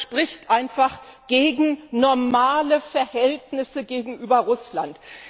Das spricht einfach gegen normale Verhältnisse gegenüber Russland.